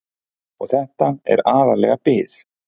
Og þetta er aðallega bið.